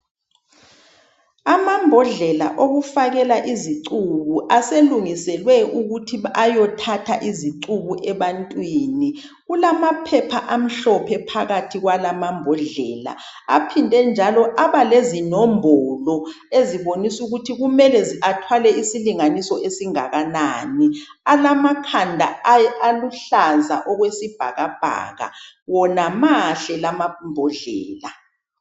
Amambodlela okufakela izicubu aselungiselwe ukuthi ayothatha izicubu ebantwini kulamaphepha amhlophe phakathi kwalamambodlela aphindenjalo abalezinombolo ezibonisukuthi kumele athwale isilinganiso esingakanani alamakhanda aluhlaza okwesibhakabhaka, wona mahle lamambodlela